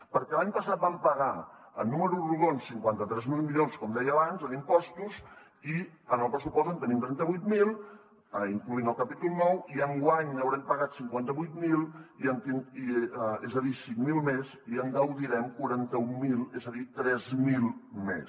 perquè l’any passat vam pagar en números rodons cinquanta tres mil milions com deia abans en impostos i en el pressupost en tenim trenta vuit mil incloent hi el capítol nou i enguany n’haurem pagat cinquanta vuit mil és a dir cinc mil més i en gaudirem quaranta mil és a dir tres mil més